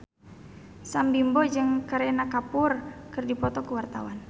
Sam Bimbo jeung Kareena Kapoor keur dipoto ku wartawan